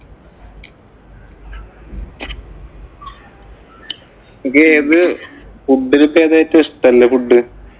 ഇങ്ങക്ക് ഏതു food ഇലേക്ക് ഇപ്പം ഏറ്റവും ഇഷ്ടല്ലേ food